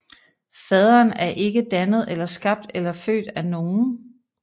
Faderen er ikke dannet eller skabt eller født af nogen